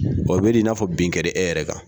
Wa bedi n'a fɔ binkɛlen e yɛrɛ kan.